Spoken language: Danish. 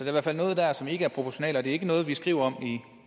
i hvert fald noget der som ikke er proportionalt og det er ikke noget vi skriver